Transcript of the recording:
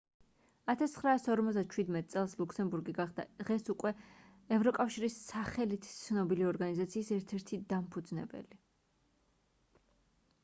1957 წელს ლუქსემბურგი გახდა დღეს უკვე ევროკავშირის სახლით ცნობილი ორგანიზაციის ერთ-ერთი დამფუძნებელი